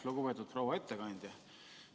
Lugupeetud proua ettekandja!